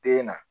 Den na